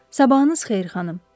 Sabahınız xeyir xanım.